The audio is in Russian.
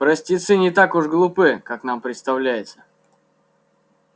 простецы не так уж глупы как нам представляется